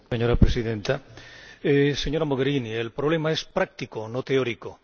Señora Presidenta, señora Mogherini, el problema es práctico, no teórico.